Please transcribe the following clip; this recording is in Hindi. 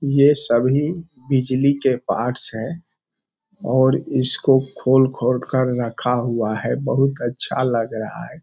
यह सभी बिजली के पार्टस है और इसको खोल-खोल कर रखा हुआ है बहुत अच्छा लग रहा है।